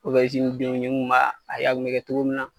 denw nin kun b'a a y'a kun bɛ kɛ cogo min na